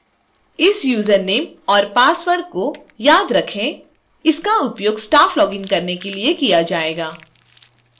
इस यूजरनेम और पासवर्ड को याद रखें इसका उपयोग staff लॉगिन करने के लिए किया जाएगा